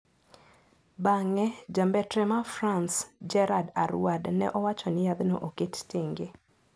Bang`e, jambetre ma France Gerard Aruad ne owacho ni yadhno oket tenge.